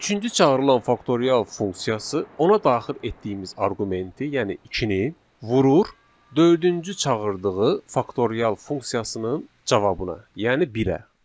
Üçüncü çağırılan faktorial funksiyası ona daxil etdiyimiz arqumenti, yəni ikini vurur dördüncü çağırdığı faktorial funksiyasının cavabına, yəni birə.